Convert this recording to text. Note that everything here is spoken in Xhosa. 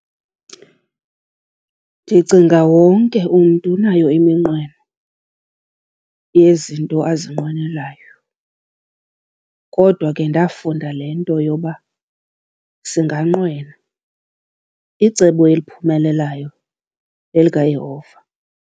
Ndicinga wonke umntu unayo iminqweno yezinto azinqwenelayo. Kodwa ke ndafunda le nto yoba singanqwena, icebo eliphumelelayo lelikaYehova.